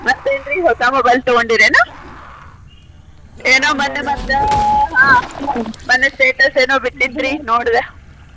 ಮತ್ತೆನ್ರೀ ಹೊಸಾ mobile ತೊಗೊಂಡಿರೇನು? ಏನೊ ಮನ್ನೆ ಮತ್ತ ಹಾ ಮನ್ನೆ status ಏನೊ ಬಿಟ್ಟಿದ್ರಿ ನೋಡ್ದೆ.